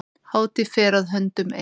Hátíð fer að höndum ein.